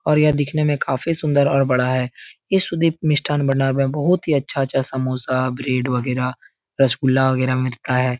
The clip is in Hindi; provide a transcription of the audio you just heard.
और यह दिखने में काफी सुंदर और बड़ा है। इस सुदीप मिष्ठान भंडार में बहोत ही अच्छा-अच्छा समोसा ब्रेड वगैरा रसगुल्ला वगैरा मिलता है।